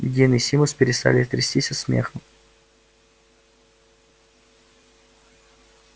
дин и симус перестали трястись от смеха